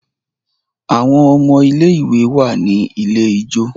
Àwon ọmọ ilé ìwé wá ní ilẹ̀ ijọ.